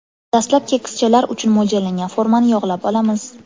Dastlab kekschalar uchun mo‘ljallangan formani yog‘lab olamiz.